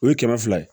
O ye kɛmɛ fila ye